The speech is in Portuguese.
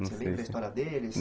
Você lembra a história deles?